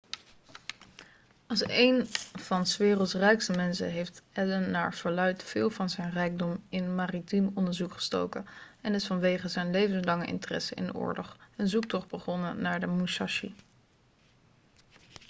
als één van s werelds rijkste mensen heeft allen naar verluidt veel van zijn rijkdom in maritiem onderzoek gestoken en is vanwege zijn levenslange interesse in de oorlog een zoektocht begonnen naar de musashi